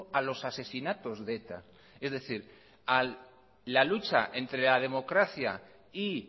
a los asesinatos de eta es decir a la lucha entre la democracia y